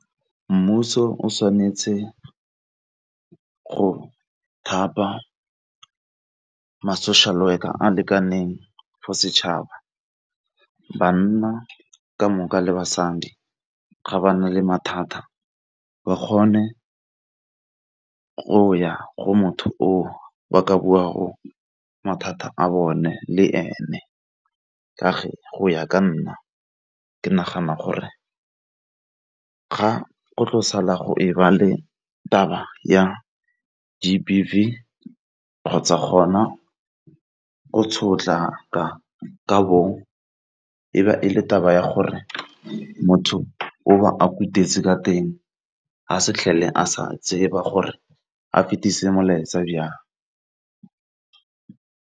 Mmuso o tshwanetse go thapa ma-social work a a lekaneng for setšhaba banna ka moka le basadi ga ba na le mathata ba kgone go ya go motho o ba ka bua go mathata a bone le ene, ka fa go ya ka nna ke nagana gore ga go tlo sala go e ba le taba ya G_B_V kgotsa gona go sotla ka bong e e le taba ya gore motho o ka teng ga se fitlhele a sa tseba gore a fetise molaetsa jang.